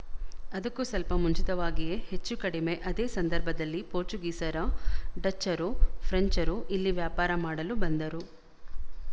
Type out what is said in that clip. ಅದಕ್ಕೂ ಸ್ವಲ್ಪ ಮುಂಚಿತವಾಗಿಯೇ ಹೆಚ್ಚು ಕಡಿಮೆ ಅದೇ ಸಂದರ್ಭದಲ್ಲಿ ಪೋರ್ಚುಗೀಸರು ಡಚ್ಚರು ಫ್ರೆಂಚರು ಇಲ್ಲಿ ವ್ಯಾಪಾರ ಮಾಡಲು ಬಂದರು